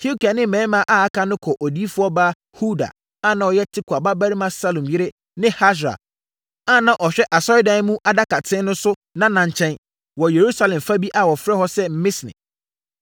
Hilkia ne mmarima a aka no kɔɔ odiyifoɔ baa Hulda a na ɔyɛ Tikwa babarima Salum yere ne Hasra a na ɔhwɛ Asɔredan mu adakaten so no nana nkyɛn, wɔ Yerusalem fa bi a wɔfrɛ hɔ sɛ Misne.